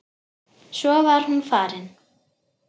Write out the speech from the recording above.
Svo var hún farin.